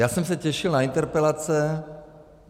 Já jsem se těšil na interpelace.